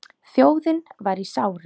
Þjóðin var í sárum.